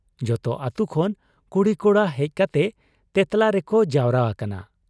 ᱡᱚᱛᱚ ᱟᱹᱛᱩ ᱠᱷᱚᱱ ᱠᱩᱲᱤ ᱠᱚᱲᱟ ᱦᱮᱡ ᱠᱟᱛᱮ 'ᱛᱮᱸᱛᱞᱟ' ᱨᱮᱠᱚ ᱡᱟᱣᱨᱟ ᱟᱠᱟᱱᱟ ᱾